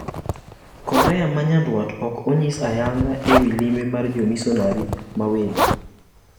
Korea ma nyandwat ok onyis ayanga e wi limbe mar jomisonari mawelo.